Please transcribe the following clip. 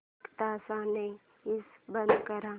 एक तासाने एसी बंद कर